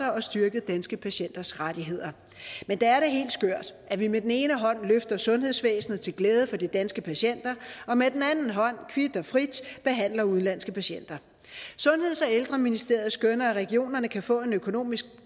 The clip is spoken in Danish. styrket danske patienters rettigheder men det er da helt skørt at vi med den ene hånd løfter sundhedsvæsenet til glæde for de danske patienter og med den anden hånd kvit og frit behandler udenlandske patienter sundheds og ældreministeriet skønner at regionerne kan få en økonomisk